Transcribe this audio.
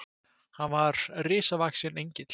Hann var risavaxinn Engill.